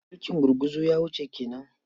Mulkin gurguzu ya wuce ke nan.